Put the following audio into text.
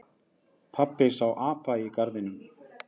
Pabbi sá apa í garðinum.